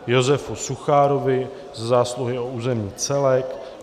Josefu Suchárovi za zásluhy o územní celek